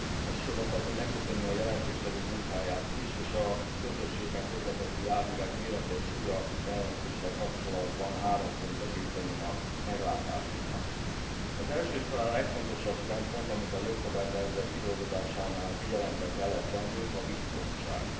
Elsősorban szeretném megköszönni a jelentéstevő munkáját is, és A közösségben közlekedő járművek mérete és súlya jelentéssel kapcsolatban három pontba gyűjteném a meglátásaimat Az első és talán legfontosabb szempont, amit a jogszabálytervezet kidolgozásánál figyelembe kellett vennünk, a biztonság.